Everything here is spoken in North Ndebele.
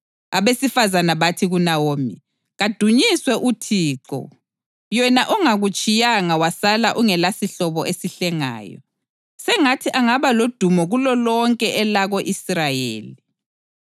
Abesifazane bathi kuNawomi, “Kadunyiswe uThixo, yena ongakutshiyanga wasala ungelasihlobo esihlengayo. Sengathi angaba lodumo kulolonke elako-Israyeli!